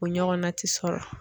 O ɲɔgɔnna ti sɔrɔ.